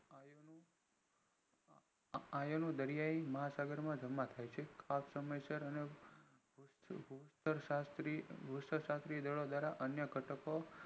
આ એનું દરિયાઈ મહા સાગર માં જમા થાય છે સમય સર અને અન્ય ઘટકો